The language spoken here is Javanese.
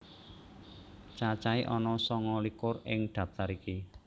Cacahé ana sanga likur ing daftar iki